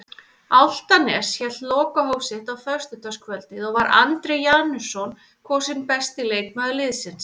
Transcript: Álftanes hélt lokahóf sitt á föstudagskvöldið og var Andri Janusson kosinn besti leikmaður liðsins.